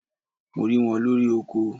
Mo ri wọn lori oko